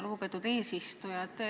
Lugupeetud eesistuja!